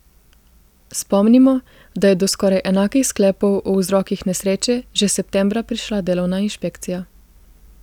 Spomnimo, da je do skoraj enakih sklepov o vzrokih nesreče že septembra prišla delovna inšpekcija.